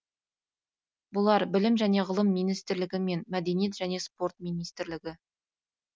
бұлар білім және ғылым министрлігі мен мәдениет және спорт министрлігі